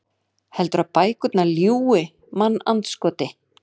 Heldurðu að bækurnar ljúgi, mannandskoti?